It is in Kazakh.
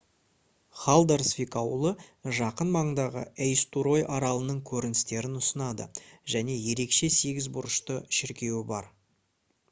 халдарсвик ауылы жақын маңдағы эйстурой аралының көріністерін ұсынады және ерекше сегіз бұрышты шіркеуі бар